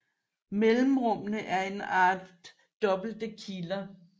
Mellemrummene er en art dobbelte kiler